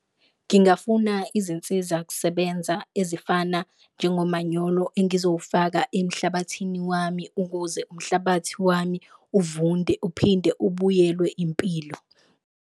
Ngingafuna izinsiza kusebenza ezifana njengomanyolo engizowufaka emhlabathini wami ukuze umhlabathi wami uvunde, uphinde ubuyelwe impilo.